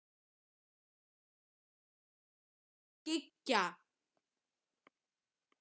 Það var komið kvöld og farið að skyggja.